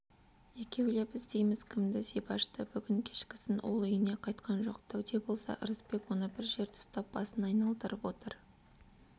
екеулеп іздейміз кімді зибашты бүгін кешкісін ол үйіне қайтқан жоқ дәуде болса ырысбек оны бір жерде ұстап басын айналдырып отыр